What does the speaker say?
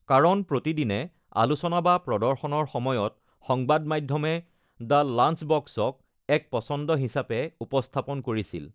কাৰণ প্ৰতিদিনে আলোচনা বা প্ৰদৰ্শনৰ সময়ত সংবাদ মাধ্যমে দ্য লাঞ্চবক্স-ক এক পচন্দ হিচাপে উপস্থাপন কৰিছিল।